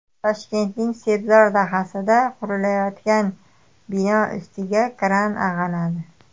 Toshkentning Sebzor dahasida qurilayotgan bino ustiga kran ag‘anadi.